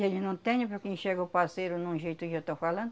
E eles não têm, porque enxerga o parceiro num jeito eu já estou falando,